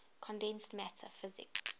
condensed matter physics